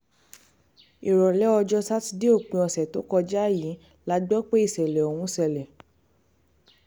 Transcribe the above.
ìrọ̀lẹ́ ọjọ́ sátidé òpin ọ̀sẹ̀ tó kọjá yìí la gbọ́ pé ìṣẹ̀lẹ̀ ọ̀hún ṣẹlẹ̀